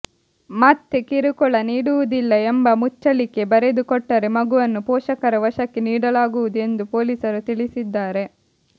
ಮತ್ತೆ ಕಿರುಕುಳ ನೀಡುವುದಿಲ್ಲ ಎಂಬ ಮುಚ್ಚಳಿಕೆ ಬರೆದುಕೊಟ್ಟರೆ ಮಗುವನ್ನು ಪೋಷಕರ ವಶಕ್ಕೆ ನೀಡಲಾಗುವುದು ಎಂದು ಪೊಲೀಸರು ತಿಳಿಸಿದ್ದಾರೆ